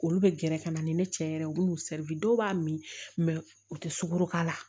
Olu bɛ gɛrɛ ka na ni ne cɛ yɛrɛ u bɛ n'u dɔw b'a min u tɛ sukoro k'a la